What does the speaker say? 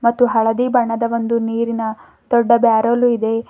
ಮತ್ತು ಹಳದಿ ಬಣ್ಣದ ಒಂದು ನೀರಿನ ದೊಡ್ಡ ಬ್ಯಾರಲು ಇದೆ.